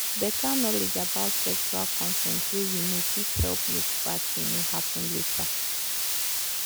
better knowledge about sexual consent way you know fit help make bad thing no happen later